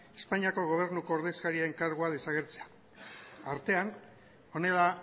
espainiako gobernuko ordezkariaren kargua desagertzea artean honela